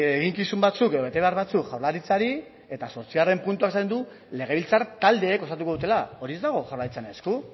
eginkizun batzuk edo betebehar batzuk jaurlaritzari eta zortzigarren puntuan esaten du legebiltzar taldeek osatuko dutela hori ez dago jaurlaritzaren esku